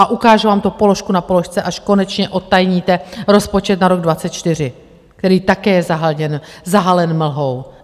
A ukážu vám to položku na položce, až konečně odtajníte rozpočet na rok 2024, který také je zahalen mlhou.